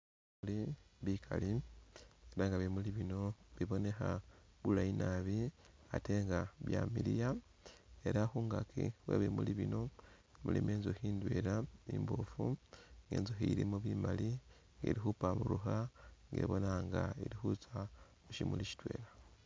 Bimuli bikali, ela nga bimuli bino bibonekha bulayi nabi ate nga byamiliya ,ela khungaaki khwe bimuli bino mulimo inzukhi indwela imboofu, inzukhi ilimo bimaali ili'khupamburukha nga ibonekha nga ili khutsya khu shimuli shitwela